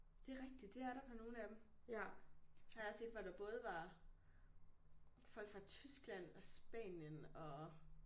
Det er rigtigt det er der på nogle af dem har jeg også set folk der både var folk fra Tyskland og Spanien og